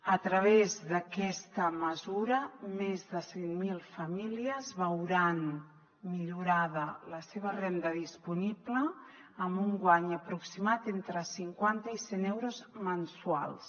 a través d’aquesta mesura més de cent mil famílies veuran millorada la seva renda disponible amb un guany aproximat entre cinquanta i cent euros mensuals